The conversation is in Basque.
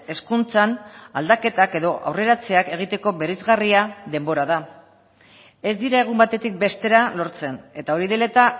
hezkuntzan aldaketak edo aurreratzeak egiteko bereizgarria denbora da ez dira egun batetik bestera lortzen eta hori dela eta